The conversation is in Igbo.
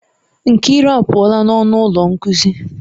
Nkiru apuola n'ọnụ ụlọ nkuzi.